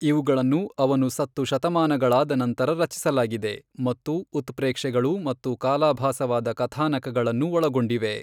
ಇವುಗಳನ್ನು ಅವನು ಸತ್ತು ಶತಮಾನಗಳಾದ ನಂತರ ರಚಿಸಲಾಗಿದೆ, ಮತ್ತು ಉತ್ಪ್ರೇಕ್ಷೆಗಳು ಮತ್ತು ಕಾಲಾಭಾಸವಾದ ಕಥಾನಕಗಳನ್ನು ಒಳಗೊಂಡಿವೆ.